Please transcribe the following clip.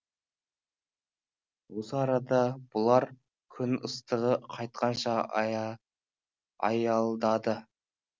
осы арада бұлар күн ыстығы қайтқанша аялдады